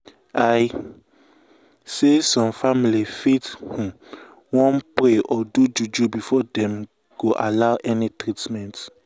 i say some family fit um wan um pray or do juju before dem go allow any treatment.